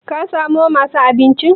kasamo masu abinchi?